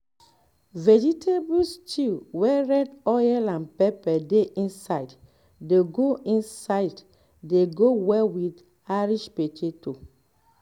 vegetable stew wey red oil and pepper dey inside dey go inside dey go well with irish potato